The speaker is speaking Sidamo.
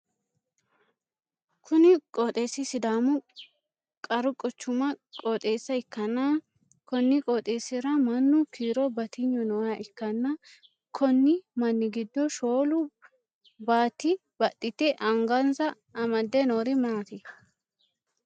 Kunni qooxeesi sidaamu qaru quchumi qooxeessa ikanna konni qooxeesira mannu kiiro batiynu nooha ikanna konni manni gido shoolu baati baxite angansa amade noori maati?